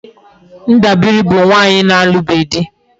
Ndabiri bu nwaanyi na-alubeghi di